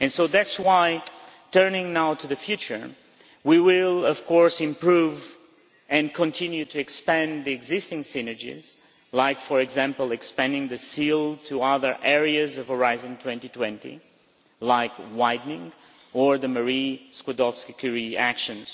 That is why, turning now to the future, we will of course improve and continue to expand the existing synergies like, for example, expanding the Seal to other areas of Horizon 2020, like widening or the Marie Skłodowska Curie Actions.